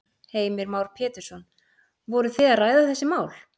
Heimir Már Pétursson: Voru þið að ræða þessi mál?